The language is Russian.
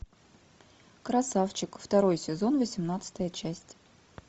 красавчик второй сезон восемнадцатая часть